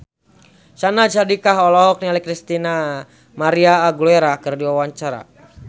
Syahnaz Sadiqah olohok ningali Christina María Aguilera keur diwawancara